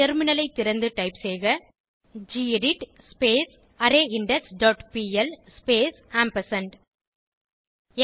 டெர்மினலைத் திறந்து டைப் செய்க gedit array index dot PL space ampersand